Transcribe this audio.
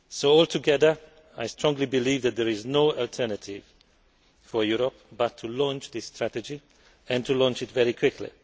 Altogether, I strongly believe that there is no alternative for Europe but to launch this strategy and to launch it very quickly.